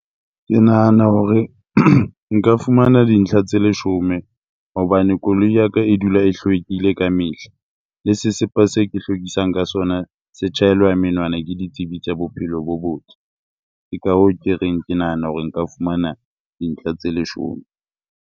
Ke nahana hore nka fumana dintlha tse leshome hobane koloi ya ka e dula e hlwekile ka mehla. Le sesepa se ke hlwekisang ka sona se tjhaelwa menwana ke ditsebi tsa bophelo bo botle. Ke ka hoo ke reng, ke nahana hore nka fumana dintlha tse leshome.